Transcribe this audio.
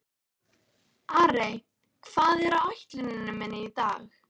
Arey, hvað er á áætluninni minni í dag?